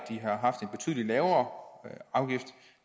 de har haft en betydelig lavere afgift